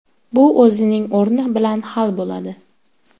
Bu o‘zining o‘rni bilan hal bo‘ladi.